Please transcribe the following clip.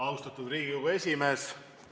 Austatud Riigikogu esimees!